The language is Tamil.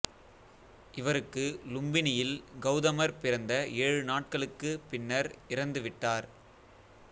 இவருக்கு லும்பினியில் கௌதமர் பிறந்த ஏழு நாட்களுக்குப் பின்னர் இறந்து விட்டார்